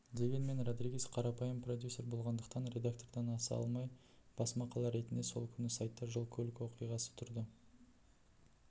дегенмен родригес қарапайым продюсер болғандықтан редактордан аса алмай бас мақала ретінде сол күні сайтта жол-көлік оқиғасы тұрды